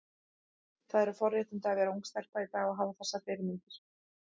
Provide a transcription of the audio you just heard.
Það eru forréttindi að vera ung stelpa í dag og hafa þessar fyrirmyndir.